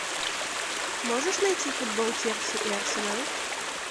можешь найти футбол челси и арсенал